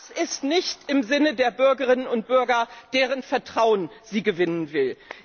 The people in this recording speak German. Das ist nicht im Sinne der Bürgerinnen und Bürger, deren Vertrauen sie gewinnen will.